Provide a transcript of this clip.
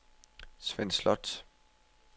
Svend Slot